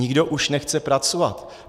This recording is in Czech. Nikdo už nechce pracovat.